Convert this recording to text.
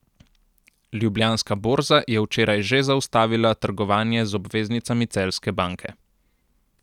Ljubljanska borza je včeraj že zaustavila trgovanje z obveznicami celjske banke.